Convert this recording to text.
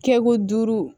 Kɛ ko duuru